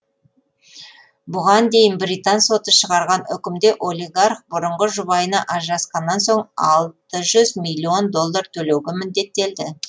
бұған дейін британ соты шығарған үкімде олигарх бұрынғы жұбайына ажырасқаннан соң алты жүз миллион доллар төлеуге міндеттелді